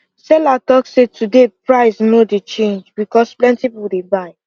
seller talk say today price no dey change because plenty people dey buy